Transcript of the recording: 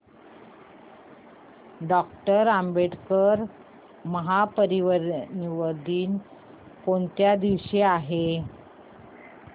doctor Ambedkar Mahaparinirvan Din कोणत्या दिवशी आहे